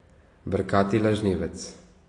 Brkati lažnivec ...